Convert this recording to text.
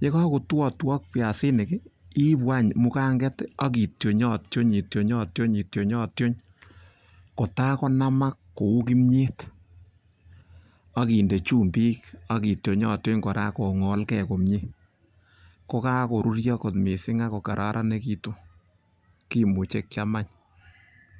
ye kagotuotuok biasinik iibu any muganget ak ii tyonyotyony kotagonamak kou kimyet ak inde chumbik ak ityonyontyony kotagonamke komie kokagoruryo kot mising ak ko kararanegitun kimuche kyam any.